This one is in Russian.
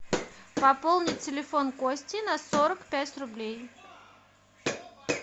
пополнить телефон кости на сорок пять рублей